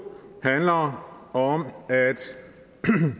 handler om